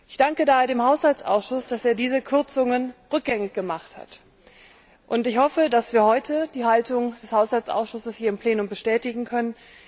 Ich danke daher dem Haushaltsausschuss, dass er diese Kürzungen rückgängig gemacht hat, und ich hoffe, dass wir heute die Haltung des Haushaltsausschusses bestätigen können.